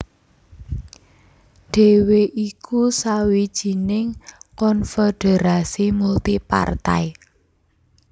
dhéwé iku sawijining konfederasi multi partai